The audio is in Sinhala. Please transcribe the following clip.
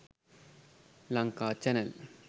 lanka channel